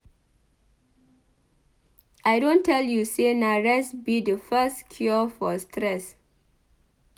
I don tell you sey na rest be di first cure for stress.